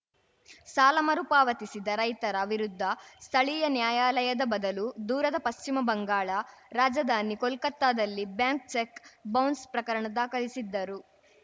ಸಾಲ ಮರುಪಾವತಿಸಿದ ರೈತರ ವಿರುದ್ಧ ಸ್ಥಳೀಯ ನ್ಯಾಯಾಲಯದ ಬದಲು ದೂರದ ಪಶ್ಚಿಮ ಬಂಗಾಳ ರಾಜಧಾನಿ ಕೋಲ್ಕತ್ತಾದಲ್ಲಿ ಬ್ಯಾಂಕ್ ಚೆಕ್‌ ಬೌನ್ಸ್‌ ಪ್ರಕರಣ ದಾಖಲಿಸಿದ್ದರು